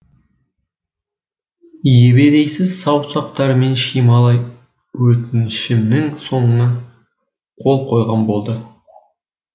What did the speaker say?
ебедейсіз саусақтарымен шимайлап өтінішімнің соңына қол қойған болды